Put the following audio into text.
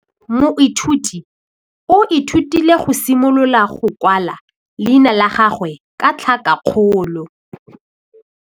Moithuti o ithutile go simolola go kwala leina la gagwe ka tlhakakgolo.